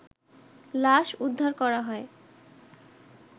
লাশ উদ্ধার করা হয়